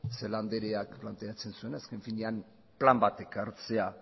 celaá andreak planteatzen zuena azken finean plan bat ekartzea